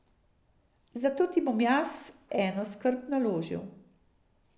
Zato ti bom jaz eno skrb naložil.